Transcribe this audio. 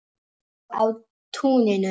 Og á túninu.